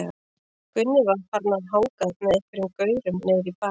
Gunni var farinn að hanga með einhverjum gaurum niðri í bæ.